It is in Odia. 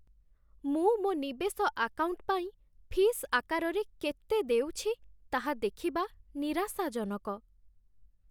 ମୁଁ ମୋ ନିବେଶ ଆକାଉଣ୍ଟ୍ ପାଇଁ ଫିସ୍ ଆକାରରେ କେତେ ଦେଉଛି, ତାହା ଦେଖିବା ନିରାଶାଜନକ।